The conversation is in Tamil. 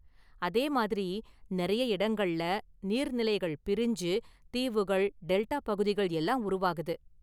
அதேமாதிரி, நிறைய இடங்கள்ல நீர்நிலைகள் பிரிஞ்சு தீவுகள், டெல்டா பகுதிகள் எல்லாம் உருவாகுது.